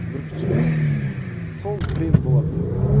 бүркітші қыз сол бренд бола білді де